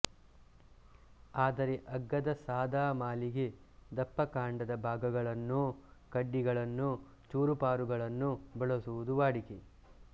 ಆದರೆ ಅಗ್ಗದ ಸಾದಾ ಮಾಲಿಗೆ ದಪ್ಪಕಾಂಡದ ಭಾಗಗಳನ್ನೋ ಕಡ್ಡಿಗಳನ್ನೋ ಚೂರುಪಾರುಗಳನ್ನೋ ಬಳಸುವುದು ವಾಡಿಕೆ